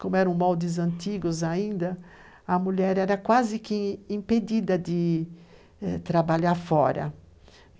Como eram moldes antigos ainda, a mulher era quase que impedida de trabalhar fora.